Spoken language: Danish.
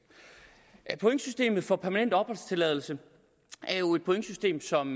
pointsystemet for permanent opholdstilladelse er jo et pointsystem som